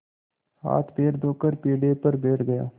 हाथपैर धोकर पीढ़े पर बैठ गया